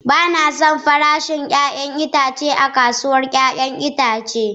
Ba na son farashin 'ya'yan itatuwa a kasuwar 'ya'yan itace.